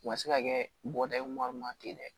U ka se ka kɛ bɔda ye wari ma ten dɛ